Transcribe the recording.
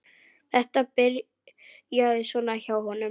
Þetta byrjaði svona hjá honum.